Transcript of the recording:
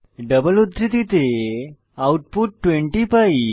double উদ্ধৃতিতে output 20 পাই